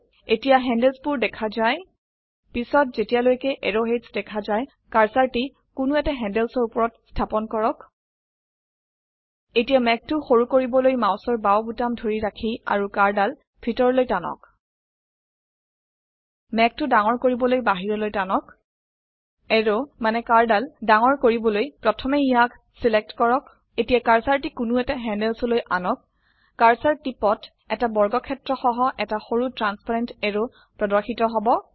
এতিয়া হেণ্ডলছ বোৰ দেখা য়ায় পিছত য়েতিলৈকে এৰোৱহেডছ দেখা য়ায় কাৰ্সাৰটি কোনো এটা handlesৰ উপৰত স্থাপন কৰক এটিয়ামেঘটো সৰু কৰিবলৈ মাউসৰ বাউ বোতাম ধৰি ৰাখি অাৰু কাঢ় দাল ভিতৰলৈ টানক মেঘটি ডাঙৰ কৰিবলৈ বাহিৰলৈ টানক এৰৱ মানে কাঢ় ডাল ডাঙৰ কৰিবলৈ প্ৰথমে ইয়াক চিলেক্ট কৰক এটিয়া কাৰ্সাৰটি কোনো এটা handlesলৈ আনক কাৰ্সাৰ টিপট এটা বৰ্গক্ষেত্ৰসহ এটা সৰু ট্ৰান্চপাৰেন্ট এৰো প্ৰদৰ্শিত হব